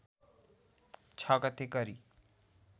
६ गते गरी